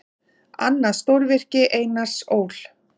Annað stórvirki Einars Ól.